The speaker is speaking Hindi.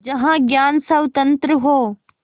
जहाँ ज्ञान स्वतन्त्र हो